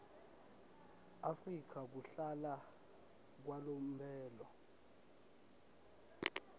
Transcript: afrika kuhlala kwalomphelo